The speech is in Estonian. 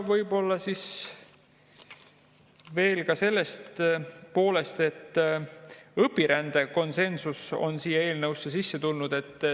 Võib-olla veel sellest, et õpirände suhtes on konsensus siia eelnõusse sisse tulnud.